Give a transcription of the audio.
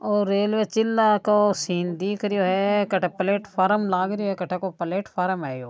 और रेलवे चिला को सीन दिख रहो है प्लेटफार्म लाग रहो है कठे को प्लेटफॉर्म है।